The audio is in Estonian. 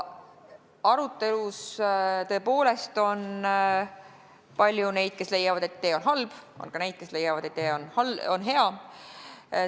Arutelus on tõepoolest olnud palju neid, kes on leidnud, et idee on halb, on olnud ka neid, kes on leidnud, et idee on hea.